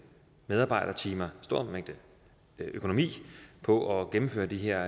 medarbejdertimer og økonomi på at gennemføre de her